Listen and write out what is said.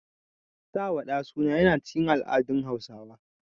Sawa ɗa suna yana cikin al'adun haihuwa.